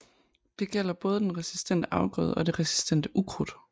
Det gælder både den resistente afgrøde og det resistente ukrudt